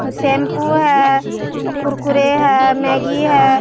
Shampoo है कुरकुरे है Maggi है।